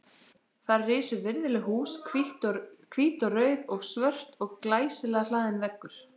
Þar risu virðuleg hús, hvít og rauð og svört og glæsilega hlaðinn veggur.